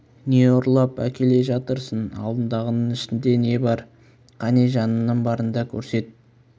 не ұрлап әкеле жатырсың алдыңдағыңның ішінде не бар кәне жаныңның барында көрсет